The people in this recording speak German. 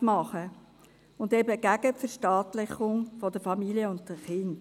Wir waren eben gegen eine Verstaatlichung von Familien und Kindern.